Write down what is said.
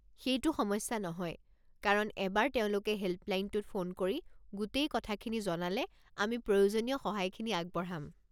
সেইটো সমস্যা নহয়, কাৰণ এবাৰ তেওঁলোকে হেল্পলাইনটোত ফোন কৰি গোটেই কথাখিনি জনালে আমি প্ৰয়োজনীয় সহায়খিনি আগবঢ়াম।